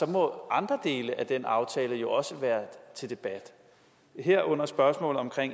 må andre dele af den aftale jo også være til debat herunder spørgsmålet om